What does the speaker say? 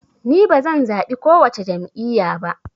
Ni bazan zaɓi kowace jam'iya ba